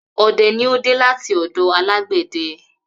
Ọdẹ ni ó dé láti ọ̀dọ alágbẹ̀dẹ